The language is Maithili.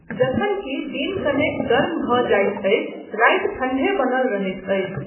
जखन कि दिन कनेक गर्म भऽ जाइत अछि, राति ठण्ढे बनल रहैत अछि।